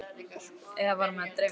Eða var mig að dreyma þetta?